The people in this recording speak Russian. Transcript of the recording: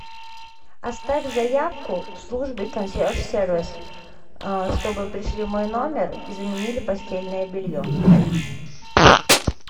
оставь заявку в службе консьерж сервис чтобы пришли в мой номер и заменили постельное белье